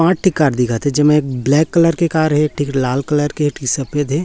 आठ कार दिखत है जेमे ब्लैक कलर के कार है ठीक लाल कलर के ठिक सफेद हैं।